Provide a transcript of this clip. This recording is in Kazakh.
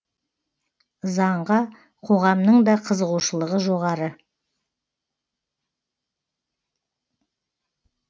заңға қоғамның да қызығушылығы жоғары